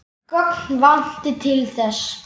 Gögn vanti til þess.